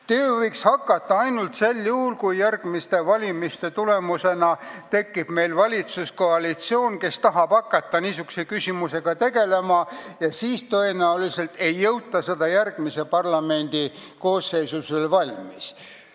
Töö võiks alata ainult sel juhul, kui järgmiste valimiste tulemusena tekiks meil valitsuskoalitsioon, kes tahaks hakata niisuguse küsimusega tegelema, kuid tõenäoliselt ei jõutaks selle tööga järgmise parlamendi koosseisu ajal valmis.